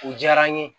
U diyara n ye